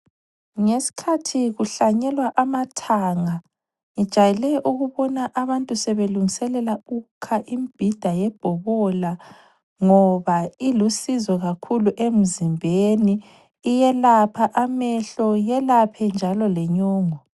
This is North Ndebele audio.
Ngesikhathi kuhlanyelwa amathanga ngijayele ukubona abantu sebelungiselela ukukha imibhida yebhobola ngoba ilusizo kakhulu emzimbeni. Iyelapha amehlo, iyelaphe njalo le nyongo.